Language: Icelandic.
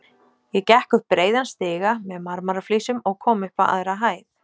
Ég gekk upp breiðan stiga með marmaraflísum og kom upp á aðra hæð.